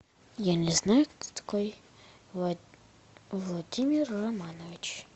я не знаю кто такой владимир романович